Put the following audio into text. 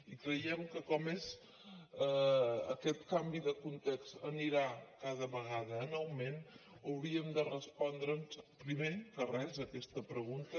i creiem que com que aquest canvi de context anirà cada vegada en augment hauríem de respondre’ns primer de res aquesta pregunta